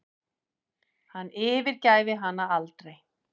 Hann yfirgæfi hana aldrei.